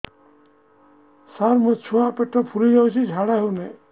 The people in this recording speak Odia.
ସାର ମୋ ଛୁଆ ପେଟ ଫୁଲି ଯାଉଛି ଝାଡ଼ା ହେଉନାହିଁ